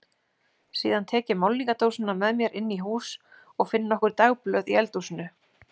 Síðan tek ég málningardósina með mér inn í hús og finn nokkur dagblöð í eldhúsinu.